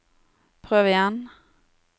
prøv igjen